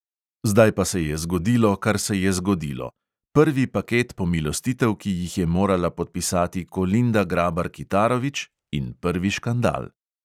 Zdaj pa se je zgodilo, kar se je zgodilo: prvi paket pomilostitev, ki jih je morala podpisati kolinda grabar kitarović, in prvi škandal.